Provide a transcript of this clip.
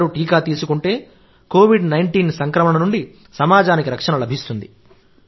అందరూ టీకా తీసుకుంటే కోవిడ్ 19 సంక్రమణ నుండి సమాజానికి రక్షణ లభిస్తుంది